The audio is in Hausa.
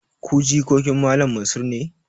Ku jikokin Malam Mansur ne?